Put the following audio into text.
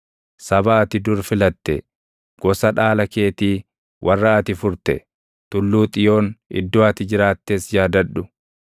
Saba ati dur filatte, gosa dhaala keetii, warra ati furte, Tulluu Xiyoon iddoo ati jiraattes yaadadhu.